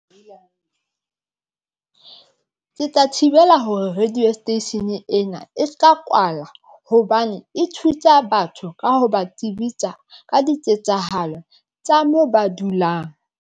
Ke tla thibela hore radio station eng ena e se ka kwala hobane e thusa batho ka ho ba tsebisa ka diketsahalo tsa moo ba dulang.